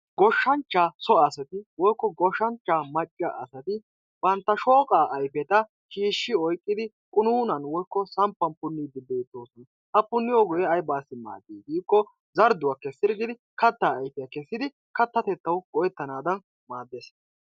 Goshshanchchaa so asati. woykko goshshanchchaa macca asati bantta shooqaa ayfeta shiishshi oyqqidi qunuunan woykko punniiddi beettoosona. Ha punniyooge aybaassi maaddii giikkoo zardduwa kessirggidi kattaa ayfiya kessidi katta keettawu go"ettana mala maaddes.